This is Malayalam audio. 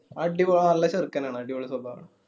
അടിപാ നല്ല ചെറുക്കാനാണ് അടിപൊളി സ്വഭാവണ്